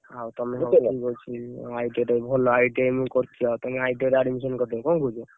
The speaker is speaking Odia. ଆଉ ତମେ ଠିକ ଅଛି ITI ଟା ବି ଭଲ ITI ମୁଁ ବି କରିଛି ବା ତମେ ITI ରେ admission କରିଦିଅ।